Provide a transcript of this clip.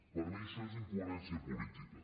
per mi això és incoherència política